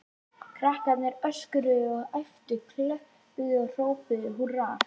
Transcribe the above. Krakkarnir öskruðu og æptu, klöppuðu og hrópuðu húrra.